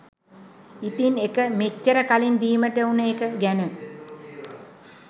ඉතින්එක මෙච්චර කලින් දීමට උන එක ගැන